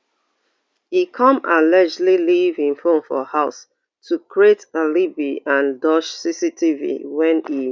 e come allegedly leave im phone for house to create alibi and dodge cctv wen e